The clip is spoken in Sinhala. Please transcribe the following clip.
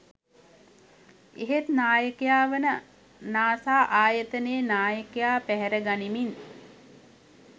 එහෙත් නායකයා වන නාසා ආයතනයේ නායකයා පැහැරගනිමින්